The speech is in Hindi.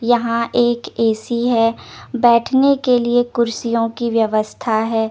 यहा एक ए _सी है बेठने के लिए कुड्सीयो की व्यवस्था है ।